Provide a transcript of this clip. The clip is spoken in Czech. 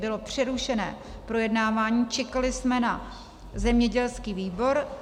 Bylo přerušené projednávání, čekali jsme na zemědělský výbor.